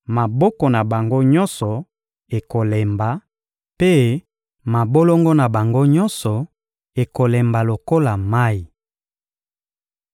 Maboko na bango nyonso ekolemba, mpe mabolongo na bango nyonso ekolemba lokola mayi.